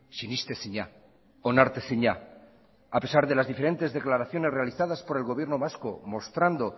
sinestezina onartezina a pesar de las diferentes declaraciones realizadas por el gobierno vasco mostrando